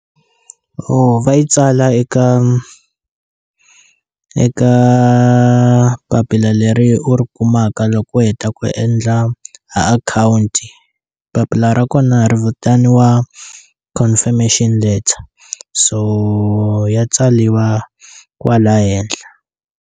va yi tsala eka eka papila leri u ri kumaka loko u heta ku endla account papila ra kona ri vitaniwa confirmation letter so ya tsaliwa kwala henhla.